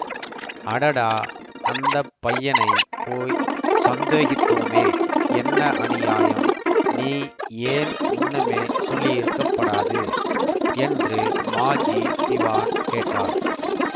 அடடா அந்த பையனைப் போய் சந்தேகித்தோமே என்ன அநியாயம் நீ ஏன் முன்னமே சொல்லியிருக்கப்படாது என்று மாஜி திவான் கேட்டார்